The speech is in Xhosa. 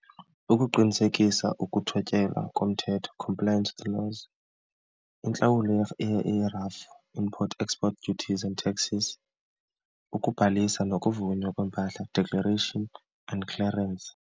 Ukuqinisekisa ukuthotyelwa komthetho, compliance to the laws. Intlawulo yerafu, import-export duties and taxes. Ukubhalisa nokuvunywa kweempahla, declaration and clearance.